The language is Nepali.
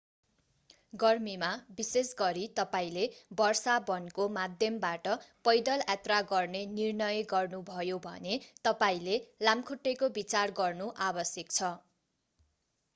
गर्मीमा विशेष गरी तपाईंले वर्षा वनको माध्यमबाट पैदल यात्रा गर्ने निर्णय गर्नुभयो भने तपाईंले लामखुट्टेको विचार गर्नु आवश्यक छ